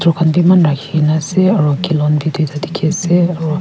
eman rakhi kene ase aru bi tuita dikhi ase aru.